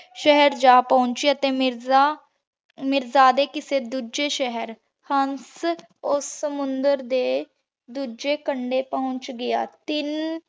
ਜਾ ਪੋਹ੍ਨ੍ਚ੍ਯਾ ਤੇ ਮੀਰਾ ਮਿਰ੍ਜ਼ਾਡੀ ਕਿਸੇ ਦੋਜਯ ਸ਼ੇਹਰ ਹੰਸ ਓਸ ਸਮੁੰਦਰ ਦੇ ਦੋਜਯ ਕੰਡੇ ਪੋਹੰਚ ਗਯਾ ਤੇ ਤਿਲ